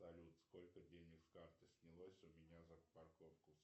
салют сколько денег с карты снялось у меня за парковку